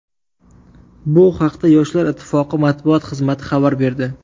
Bu haqda Yoshlar ittifoqi matbuot xizmati xabar berdi .